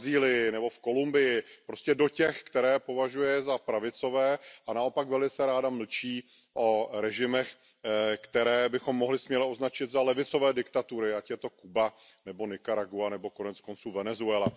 v Brazílii nebo v Kolumbii, prostě do těch, které považuje za pravicové, a naopak velice ráda mlčí o režimech, které bychom směle mohli označit za levicové diktatury, ať je to Kuba nebo Nikaragua nebo konec konců Venezuela.